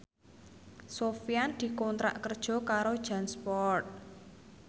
Sofyan dikontrak kerja karo Jansport